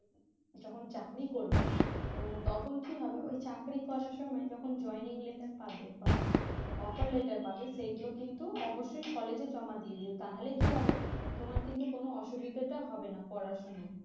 যখন চাকরি করবে তো তখন কি হবে ওই চাকরি করার সময় যখন joining letter পাবে বা offer letter পাবে সেই গুলো কিন্তু অবশ্যই college এ জমা দিয়ে দিও তাহলে কি হবে তোমার কিন্তু কোন অসুবিধেটা হবে না করার সময়